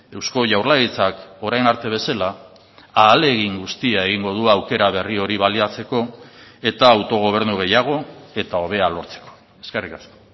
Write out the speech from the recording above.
eusko jaurlaritzak orain arte bezala ahalegin guztia egingo du aukera berri hori baliatzeko eta autogobernu gehiago eta hobea lortzeko eskerrik asko